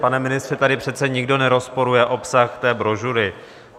Pane ministře, tady přece nikdo nerozporuje obsah té brožury.